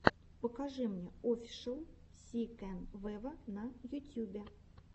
покажи мне офишел си кэн вево на ютюбе